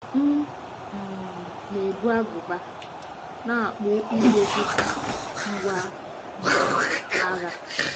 M um na-ebu agụba na agbụ ígwè dị ka ngwá um agha.